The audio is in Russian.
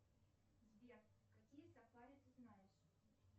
сбер какие сафари ты знаешь